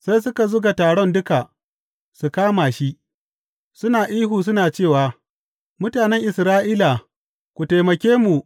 Sai suka zuga taron duka, suka kama shi, suna ihu suna cewa Mutanen Isra’ila ku taimake mu!